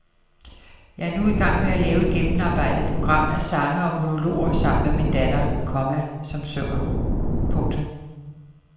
Jeg er nu i gang med lave et gennemarbejdet program af sange og monologer sammen med min datter, komma som synger. punktum